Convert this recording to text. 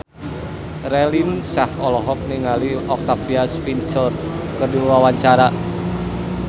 Raline Shah olohok ningali Octavia Spencer keur diwawancara